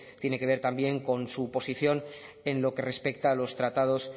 tiene que ver también con su posición en lo que respecta a los tratados